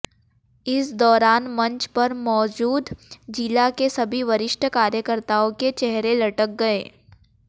इस दौरान मंच पर मौजूद जिला के सभी वरिष्ठ कार्यकर्ताओं के चेहरे लटक गए